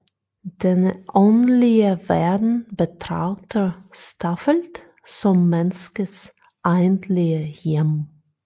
Denne åndelige verden betragter Staffeldt som menneskets egentlige hjem